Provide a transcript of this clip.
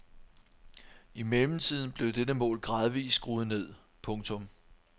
I mellemtiden blev dette mål gradvist skruet ned. punktum